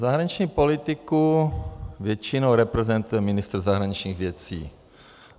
Zahraniční politiku většinou reprezentuje ministr zahraničních věcí.